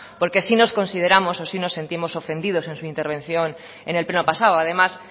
porque sí nos consideramos o sí nos sentimos ofendidos en su intervención en el pleno pasado además